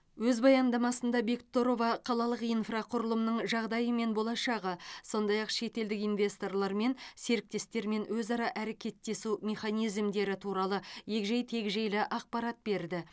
өз баяндамасында бектұрова қалалық инфрақұрылымның жағдайы мен болашағы сондай ақ шетелдік инвесторлармен және серіктестермен өзара әрекеттесу механизмдері туралы егжей тегжейлі ақпарат берді